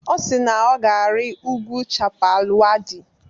Ọ si na ọ ga-arị ugwu Chappal Waddi.